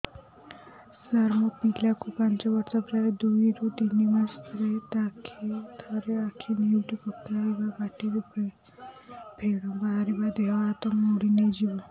ସାର ମୋ ପିଲା କୁ ପାଞ୍ଚ ବର୍ଷ ପ୍ରାୟ ଦୁଇରୁ ତିନି ମାସ ରେ ଥରେ ଆଖି ନେଉଟି ପକାଇବ ପାଟିରୁ ଫେଣ ବାହାରିବ ଦେହ ହାତ ମୋଡି ନେଇଯିବ